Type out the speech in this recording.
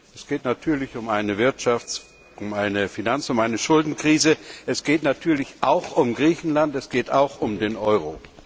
Es geht natürlich um eine Wirtschafts Finanz und Schuldenkrise, es geht natürlich auch um Griechenland, es geht auch um den Euro.